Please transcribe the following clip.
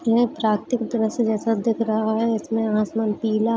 यह प्रातिक दृश्य जैसा दिख रहा है इसमें आसमान पीला --